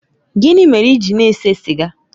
Gịnị mere ị gị na-ese sịga?